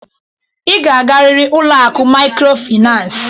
Ị ga-agarịrị ụlọ akụ mikrofinas!